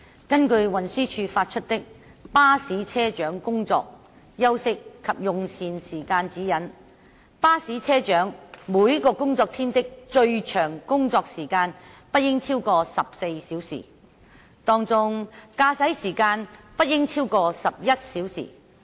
根據運輸署發出的《巴士車長工作、休息及用膳時間指引》，巴士車長每個工作天的最長工作時間不應超過14小時，當中駕駛時間不應佔超過11小時。